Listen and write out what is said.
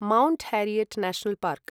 Mount Harriet National park